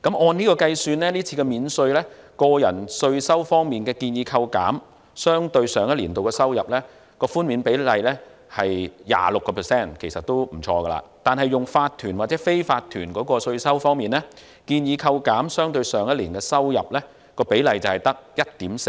按此計算，這次免稅，個人稅收方面建議扣減相對於上一年的收入，寬免比率為 26%， 其實都不錯，但來自法團或非法團的稅收方面，建議扣減相對於上一年的收入，比率僅為 1.4%。